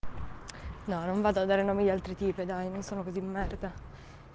нам надо найти передаваемых именно это